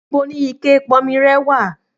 Níbo ni ikẹ ìponmi rẹ wà